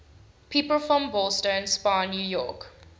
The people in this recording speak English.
people from ballston spa new york